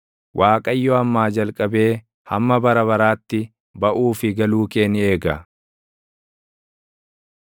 Waaqayyo ammaa jalqabee hamma bara baraatti, baʼuu fi galuu kee ni eega.